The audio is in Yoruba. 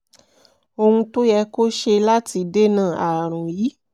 ohun tó yẹ kó o ṣe láti dènà ààrùn yìí